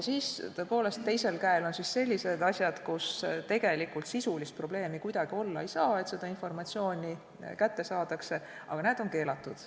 Tõepoolest, teisel käel on sellised asjad, kui tegelikult ei saa kuidagi olla sisulist probleemi, et seda informatsiooni kätte saadakse, aga näed, on keelatud.